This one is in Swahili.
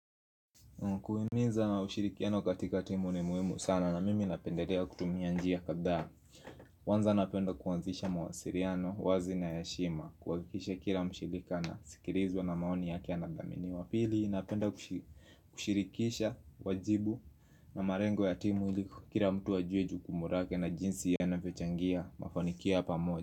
Kuhimiza na ushirikiano katika timu ni muhimu sana na mimi napendelea kutumia njia kadhaa kwanza napenda kuanzisha mawasiliano, wazi na ya heshima, kuhakisha kila mshirika anasikilizwa na maoni yake yanathaminiwa pili napenda kushirikisha wajibu na malengo ya timu ili kila mtu ajue jukumu lake na jinsi ya anavyochangia, mafanikio ya pamoja.